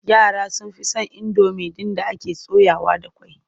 Yara sun fi son indomi ɗin da ake soyawa da ƙwai.